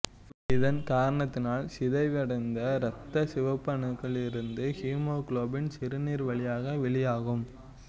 இதன் காரணத்தினால் சிதைவடைந்த இரத்த சிவப்பணுக்களிலிருந்து ஹீமோகுளோபின் சிறுநீர் வழியாக வெளியாகும்